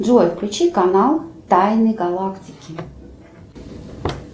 джой включи канал тайны галактики